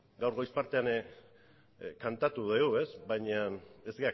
gaur goiz partean kantatu dugu baina ez